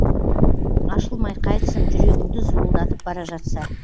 ашылмай қайтсін жүрегіңді зуылдатып бара жатса